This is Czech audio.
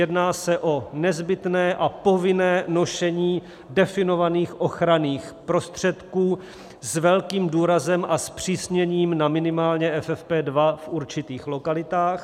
Jedná se o nezbytné a povinné nošení definovaných ochranných prostředků, s velkým důrazem a zpřísněním na minimálně FFP2 v určitých lokalitách.